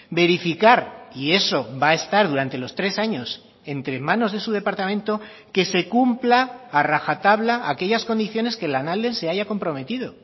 verificar y eso va a estar durante los tres años entre manos de su departamento que se cumpla a rajatabla aquellas condiciones que lanalden se haya comprometido